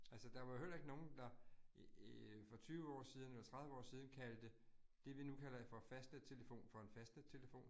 Altså der var jo heller ikke nogen, der æh for 20 år siden eller 30 år siden kaldte det vi nu kalder for fastnettelefon for en fastnettelefon